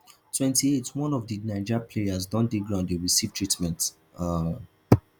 twenty-eightone of di niger players don dey ground dey receive treatment um